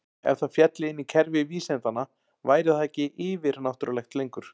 Ef það félli inn í kerfi vísindanna væri það ekki yfir-náttúrulegt lengur.